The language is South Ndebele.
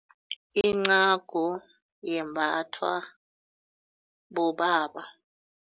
Incagu yembathwa bobaba.